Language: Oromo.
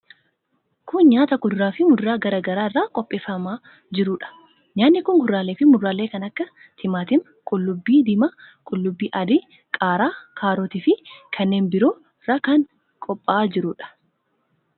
Kun nyaata kuduraa fi muduraa garaa garaa irraa qopheeffamaa jiruu dha. Nyaanni kun, kuduraalee fi muduraalee kan akka : timaatima, qullubbii diimaa, qullubbii adii, qaaraa , kaarotii fi kanneen biroo irraa kan qopha'aa jiruu dha.